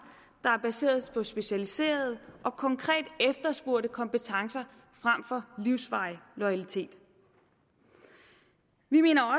der er baseret på specialiserede og konkret efterspurgte kompetencer frem for livsvarig loyalitet vi mener